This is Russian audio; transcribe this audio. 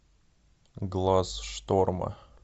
глаз шторма